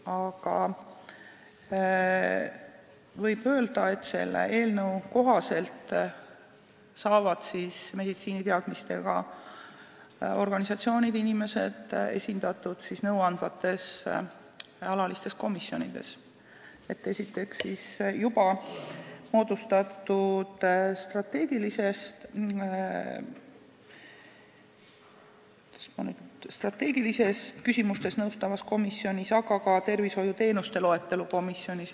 Aga võib öelda, et selle eelnõu kohaselt saavad meditsiiniteadmistega organisatsioonid ja inimesed esindatud nõuandvates alalistes komisjonides, juba moodustatud strateegilistes küsimustes nõustavas komisjonis ja ka tervishoiuteenuste loetelu komisjonis.